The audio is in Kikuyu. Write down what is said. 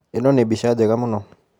ĩno nĩ mbica njega mũno.